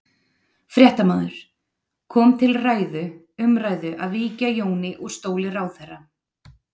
Fréttamaður: Kom til ræðu, umræðu að víkja Jóni úr stóli ráðherra?